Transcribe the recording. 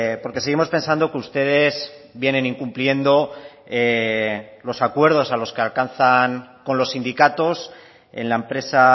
porque seguimos pensando que ustedes vienen incumpliendo los acuerdos a los que alcanzan con los sindicatos en la empresa